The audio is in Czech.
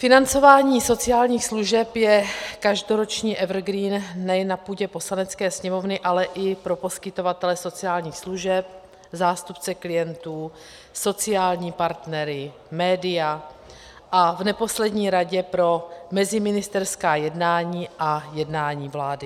Financování sociálních služeb je každoroční evergreen nejen na půdě Poslanecké sněmovny, ale i pro poskytovatele sociálních služeb, zástupce klientů, sociální partnery, média a v neposlední řadě pro meziministerská jednání a jednání vlády.